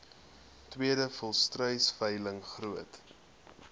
tweede volstruisveiling groot